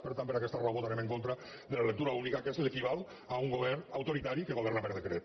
per tant per aquesta raó votarem en contra de la lectura única que és el que equival a un govern autoritari que governa per decret